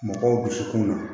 Mɔgɔw dusukun na